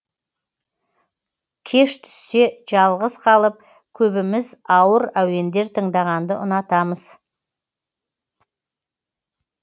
кеш түссе жалғыз қалып көбіміз ауыр әуендер тыңдағанды ұнатамыз